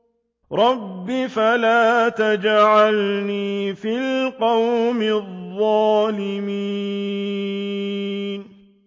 رَبِّ فَلَا تَجْعَلْنِي فِي الْقَوْمِ الظَّالِمِينَ